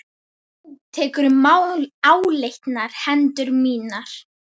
Þú tekur um áleitnar hendur mínar.